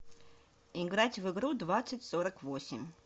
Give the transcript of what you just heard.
играть в игру двадцать сорок восемь